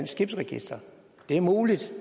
skibsregister det er muligt